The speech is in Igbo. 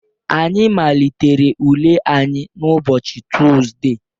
Anyị malitere ule anyị n' ụbọchị Tuzdee